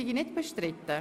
Trifft das nicht zu?